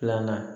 Filanan